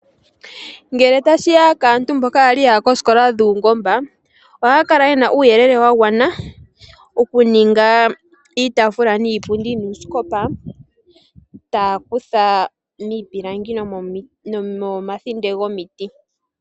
Ngele tashi ya kaantu mboka kwali yaya koosikola dhuungomba ohaa kala ye na uuyelele wa gwana ngele tashi ya mokuninga iitafula niipundi nuusikopa taa kutha nomomakota gomiti.